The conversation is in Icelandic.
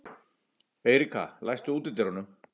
Eiríka, læstu útidyrunum.